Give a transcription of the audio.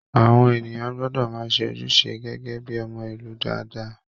Àwọn ènìyàn gbọdọ máa ṣe ojúṣe gẹgẹ bíi ọmọ ìlú dáadáa.